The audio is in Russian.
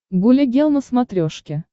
гуля гел на смотрешке